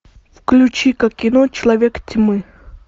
включи ка кино человек тьмы